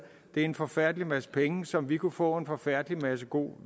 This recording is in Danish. er en forfærdelig masse penge som vi kunne få en forfærdelig masse god